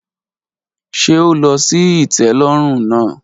Ṣe o lọ si itẹlọrun naa?